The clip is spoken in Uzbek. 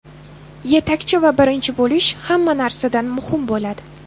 Yetakchi va birinchi bo‘lish hamma narsadan muhim bo‘ladi.